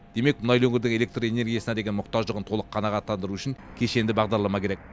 демек мұнайлы өңірдің электр энергиясына деген мұқтаждығын толық қанағаттандыру үшін кешенді бағдарлама керек